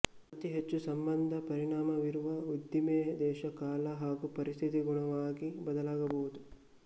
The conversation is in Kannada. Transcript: ಅತಿ ಹೆಚ್ಚು ಸಂಬಂಧ ಪರಿಣಾಮವಿರುವ ಉದ್ದಿಮೆ ದೇಶ ಕಾಲ ಹಾಗೂ ಪರಿಸ್ಥಿತಿಗನುಗುಣವಾಗಿ ಬದಲಾಗಬಹುದು